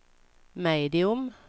medium